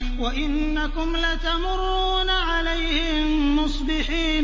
وَإِنَّكُمْ لَتَمُرُّونَ عَلَيْهِم مُّصْبِحِينَ